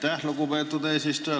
Aitäh, lugupeetud eesistuja!